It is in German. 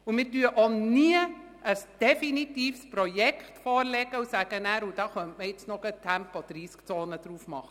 Wir legen auch nie ein definitives Projekt vor und sagen nachher, man könnte auch noch gleich eine Tempo-30-Zone damit verbinden.